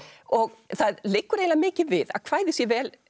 og það liggur eiginlega mikið við að kvæðið sé vel